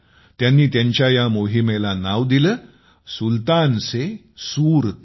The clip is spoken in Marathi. त्यांनी त्यांच्या या मोहिमेला नाव दिले सुलतान से सूरतान